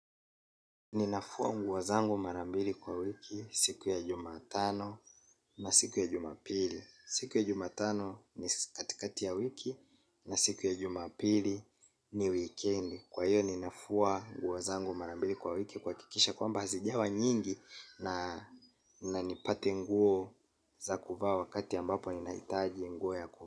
Ninafua nguo zangu mara mbili kwa wiki siku ya jumatano na siku ya jumapili. Siku ya jumatano ni katikati ya wiki na siku ya jumapili ni wikendi. Kwa hiyo ninafua nguo zangu mara mbili kwa wiki kuhakikisha kwamba hazijawa nyingi. Na nipate nguo za kuvaa wakati ambapo ninahitaji nguo ya kuvaa.